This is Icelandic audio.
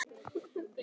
Ýmiss konar haf.